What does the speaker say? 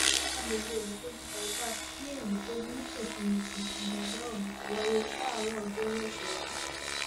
àgbègbè ìlúpẹjù bye pass ní ìlúpẹjù nítòsí musin níjàmbá ọhún ti wáyé láàárọ ọjọoru ọsẹ yìí